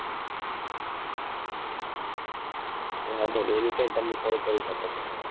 વાંધો નહીં anytime તમે call કરી શકો છો.